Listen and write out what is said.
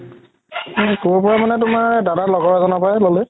ক'ৰ পৰা মানে তুমাৰ দাদা লগৰ এজনৰ পৰায়ে ল'লে